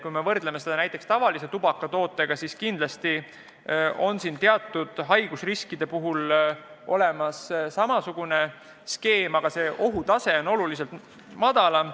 Kui me võrdleme seda mõju tavaliste tubakatoodete mõjuga, siis kindlasti on teatud haigusriskid olemas, aga ohutase on oluliselt madalam.